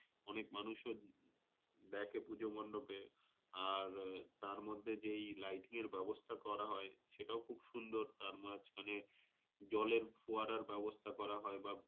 অনেক মানুষও দেখে পুজো মন্ডোপে আর তার মধ্যে যেই lighting এর ব্যাবস্থা করা হয় সেটাও খুব সুন্দর। তার মাঝখানে, জ্বলের ফুয়ারার ব্যাবস্থা করা হয় বা,